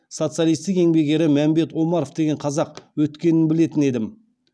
социалистік еңбек ері мәмбет омаров деген қазақ өткенін білетін едім